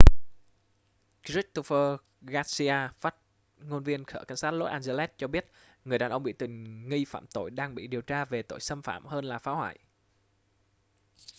christopher garcia phát ngôn viên sở cảnh sát los angeles cho biết người đàn ông bị tình nghi phạm tội đang bị điều tra về tội xâm phạm hơn là phá hoại